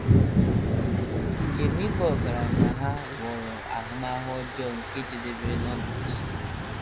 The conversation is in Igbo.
“ Njem ịba ọgaranya ” ha ghọrọ ahụmahụ ọjọọ nke jedebere n’ọdachi.